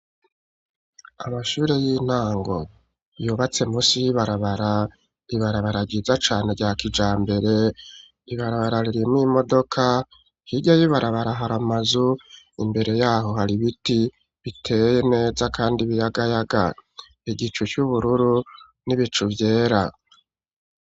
Amashure y'intango yubatse musi y'ibarabara ,ibarabara ryiza cane rya kijambere ibarabara ririmw' imodoka hirya yibarabara har' amazu imbere yaho har'ibiti biteye neza kandi biyagayaga ,igicu c'ubururu n'ibicu vyera